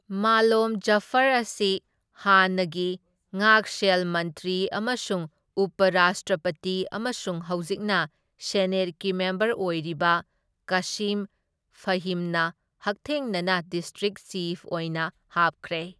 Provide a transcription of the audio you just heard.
ꯃꯥꯂꯣꯝ ꯖꯐꯔ ꯑꯁꯤ ꯍꯥꯟꯅꯒꯤ ꯉꯥꯛꯁꯦꯜ ꯃꯟꯇ꯭ꯔꯤ ꯑꯃꯁꯨꯡ ꯎꯄ ꯔꯥꯁꯇ꯭ꯔꯄꯇꯤ ꯑꯃꯁꯨꯡ ꯍꯧꯖꯤꯛꯅ ꯁꯦꯅꯦꯠꯀꯤ ꯃꯦꯝꯕꯔ ꯑꯣꯏꯔꯤꯕ ꯀꯥꯁꯤꯝ ꯐꯥꯍꯤꯝꯅ ꯍꯛꯊꯦꯡꯅꯅ ꯗꯤꯁꯇ꯭ꯔꯤꯛ ꯆꯤꯐ ꯑꯣꯏꯅ ꯍꯥꯞꯈ꯭ꯔꯦ꯫